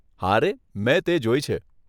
હારે, મેં તે જોઈ છે.